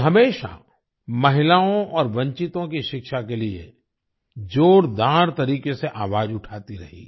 वे हमेशा महिलाओं और वंचितों की शिक्षा के लिए जोरदार तरीके से आवाज उठाती रहीं